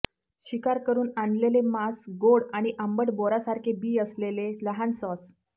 शिकार करुन आणलेले मांस गोड आणि आंबट बोरासारखे बी असलेले लहान सॉस